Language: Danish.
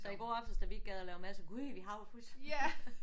Så i går aftes da vi ikke gad at lave mad så gud vi har jo fryseren